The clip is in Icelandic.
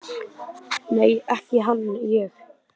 Nei, ekki hann ég.